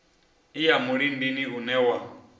i ya mulindini une wa